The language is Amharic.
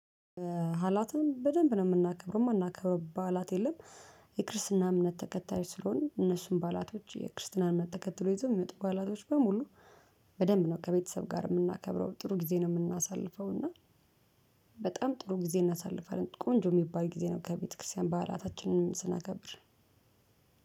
ሀላትን በደንብ ነው የምናከብረው የማናከብረው ባላት የለም የክርስትና እምነት ተከታይ ስለሆንነ እነሱን ባላቶች የክርስትናን መተከትሎ ይዞ የሚመጡ ባላቶች በሙሉ። በደንብ ነው ከቤተሰብ ጋር የምናከብረው ጥሩ ጊዜ ነው የምናሳልፈው። እና በጣም ጥሩ ጊዜ እናሳልፋለን ቆንጆ የሚባል ጊዜ ነው ከቤተክርስቲያን ባህላታችንንም ስናከብር።